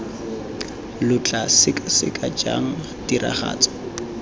lo tla sekaseka jang tiragatso